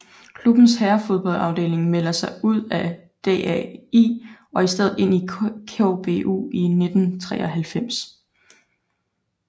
Klubbens herrefodboldafdeling melder sig ud af DAI og i stedet ind under KBU i 1993